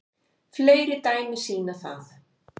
Fleiri dæmi sýna það